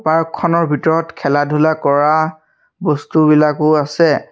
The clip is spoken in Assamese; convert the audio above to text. পাৰ্ক খনৰ ভিতৰত খেলা-ধূলা কৰা বস্তুবিলাকো আছে।